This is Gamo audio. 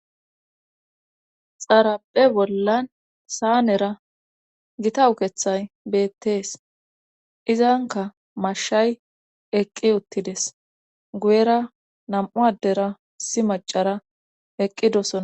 Xarape bollan saanera gita ukethay beettees izanka mashshay eqqi uttides guyera nam7u addera issi macara eqqidosona